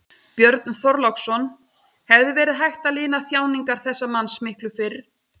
Björn Þorláksson: Hefði verið hægt að lina þjáningar þessa manns miklu fyrr?